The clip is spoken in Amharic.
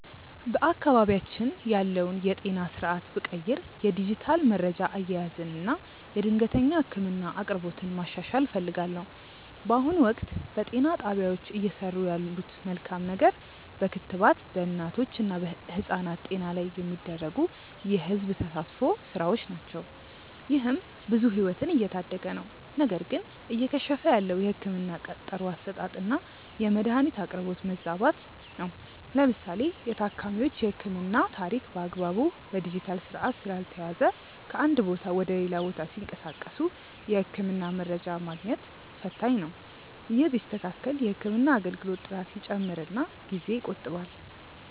በአካባቢያችን ያለውን የጤና ስርዓት ብቀይር የዲጂታል መረጃ አያያዝን እና የድንገተኛ ህክምና አቅርቦትን ማሻሻል እፈልጋለሁ። በአሁኑ ወቅት፣ በጤና ጣቢያዎች እየሰሩ ያለት መልካም ነገር በክትባት በእናቶች እና ህጻናት ጤና ላይ የሚደረጉ የህዝብ ተሳትፎ ስራዎች ናቸው። ይህም ብዙ ህይወትን እየታደገ ነው። ነገር ግን እየከሸፈ ያለው የህክምና ቀጠሮ አሰጣጥና የመድኃኒት አቅርቦት መዛባት ነው። ለምሳሌ የታካሚዎች የህክምና ታሪክ በአግባቡ በዲጂታል ስርዓት ስላልተያያዘ ከአንድ ቦታ ወደ ሌላ ቦታ ሲንቀሳቀሱ የህክምና መረጃ ማግኘት ፈታኝ ነው። ይህ ቢስተካከል የህክምና አገልግሎት ጥራት ይጨምርና ጊዜ ይቆጥባል።